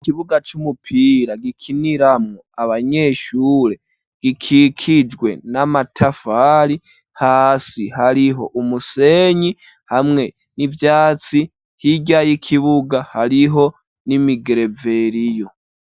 Ikibuga c'umupira gikiniramwo abanyeshure gikikijwe n'amatafari hasi hariho umusenyi hamwe n'ivyatsi, hirya y'ikibuga hariho n'imigereveriyo.